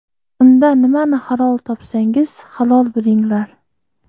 Unda nimani halol topsangiz, halol bilinglar!